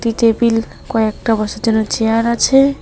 একটি টেবিল কয়েকটা বসার জন্য চেয়ার আছে।